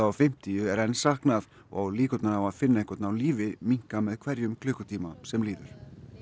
og fimmtíu er enn saknað og líkurnar á að finna einhvern á lífi minnka með hverjum klukkutíma sem líður